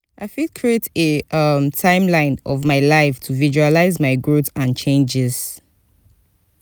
i fit create a um timeline of my life to visualize my growth and changes.